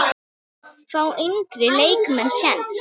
Fá yngri leikmenn séns?